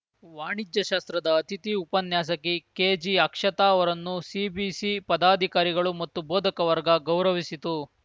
ವಾಣಿಜ್ಯ ಶಾಸ್ತ್ರದ ಅತಿಥಿ ಉಪನ್ಯಾಸಕಿ ಕೆಜಿ ಅಕ್ಷತಾ ಅವರನ್ನು ಸಿಬಿಸಿ ಪದಾಧಿಕಾರಿಗಳು ಮತ್ತು ಬೋಧಕ ವರ್ಗ ಗೌರವಿಸಿತು